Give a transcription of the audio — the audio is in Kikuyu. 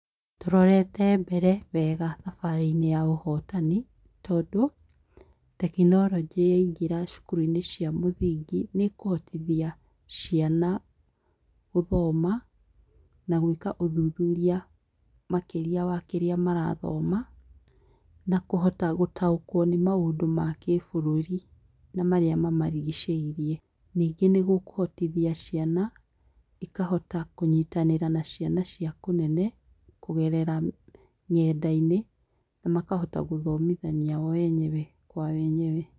Tũrorete mbere wega thabarĩ-inĩ ya ũhotani, tondũ, tekinoronjĩ yaingĩra cukuru-inĩ cia mũthingi nĩ ĩkũhotithia ciana gũthoma, na gwĩka ũthuthuria makĩria wa kĩrĩa marathoma, na kũhota gũtaũkwo nĩ maundũ ma kĩburũri na marĩa mamarigicĩirie, Ningĩ nĩ gũkũhotithia ciana, ikahota kũnyitanĩra na ciana cia kũnene kũgerera nenda-inĩ na makahota gũthomithania o enyewe kwa wenyewe